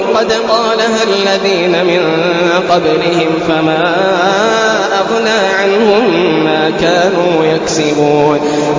قَدْ قَالَهَا الَّذِينَ مِن قَبْلِهِمْ فَمَا أَغْنَىٰ عَنْهُم مَّا كَانُوا يَكْسِبُونَ